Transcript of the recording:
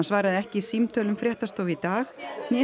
svaraði ekki símtölum fréttastofu í dag